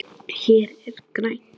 Hér er grænt.